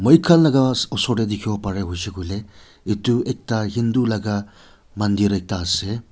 khan laga osor te dikhiwo pare hoishey koile etu ekta hindu laga mandir ekta ase.